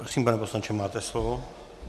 Prosím, pane poslanče, máte slovo.